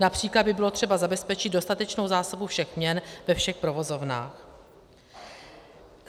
Například by bylo třeba zabezpečit dostatečnou zásobu všech měn ve všech provozovnách.